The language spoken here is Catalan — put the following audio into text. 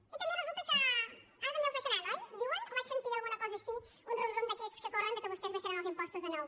i també resulta que ara també els abaixaran oi diuen o vaig sentir alguna cosa així un rum rum d’aquests que corren que vostès abaixaran els impostos de nou